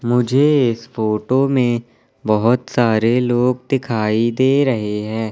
मुझे इस फोटो में बहुत सारे लोग दिखाई दे रहे हैं।